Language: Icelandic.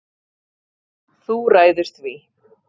Þú ræður því.